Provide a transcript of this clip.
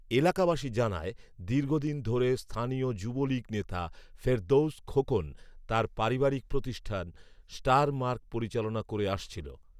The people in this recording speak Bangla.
এলাকাবাসী জানায়, দীর্ঘদিন ধরে স্থানীয় যুবলীগ নেতা ফেরদৌস খোকন তার পারিবারিক প্রতিষ্ঠান স্টার মার্ক পরিচালনা করে আসছিল